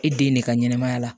E den de ka ɲɛnɛmaya la